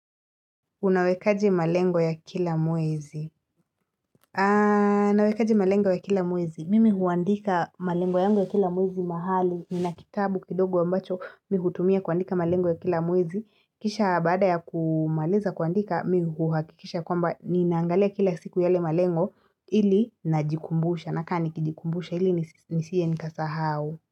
Unawekaji malengo ya kila mwezi. Nawekaji malengo ya kila mwezi. Mimi huandika malengo yangu ya kila mwezi mahali. Nina kitabu kindogo ambacho mimi hutumia kuandika malengo ya kila mwezi. Kisha baada ya kumaaliza kuandika, mimi huhakikisha kwamba ninaangalia kila siku yale malengo ili najikumbusha. Nakaa nikijikumbusha ili nisije nikasahau.